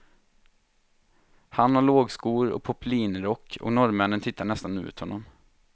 Han har lågskor och poplinrock och norrmännen tittar nästan ut honom.